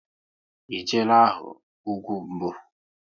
E jeela hụ ugwu mbụ?